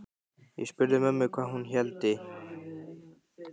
Ég spurði mömmu hvað hún héldi.